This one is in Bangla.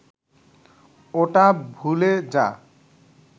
ওটা ভুলে যা